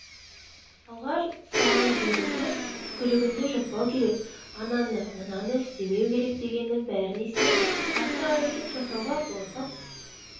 алғаш ұстаған кезімде түкірігіңді жұтпау керек ананы-мынаны істемеу керек дегеннің бәріне сеніп артық әрекет жасауға қорқып